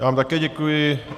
Já vám také děkuji.